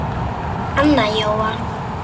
Anna Jóa